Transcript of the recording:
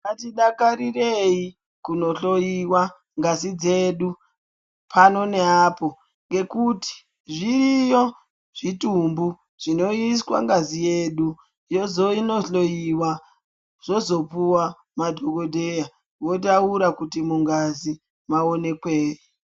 Ngatidakarireyi kunohloyiwa ngazi dzedu pano neapo ngekuti zviriyo zvitumbu zvinoiswa ngazi yedu yozono hloyiwa zvozopuwa madhokodheya votaura kuti mungazi maonekweyi.